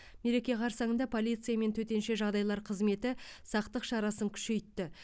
мереке қарсаңында полиция мен төтенше жағдайлар қызметі сақтық шарасын күшейтті